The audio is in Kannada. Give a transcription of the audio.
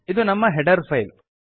ಇದು ನಮ್ಮ ಹೆಡರ್ ಫೈಲ್